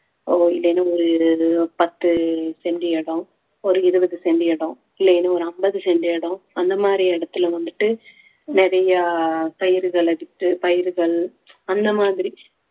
இல்லைன்னா ஒரு பத்து cent இடம் ஒரு இருபது cent இடம் இல்லைன்னா ஒரு ஐம்பது cent இடம் அந்த மாதிரி இடத்துல வந்துட்டு நிறைய பயிர்களை வித்து பயிர்கள் அந்த மாதிரி